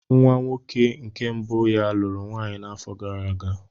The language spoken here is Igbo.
Nwa nwoke nke mbụ ya lụrụ nwaanyị n'afọ gara aga.